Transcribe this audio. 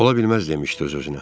Ola bilməz demişdi öz-özünə.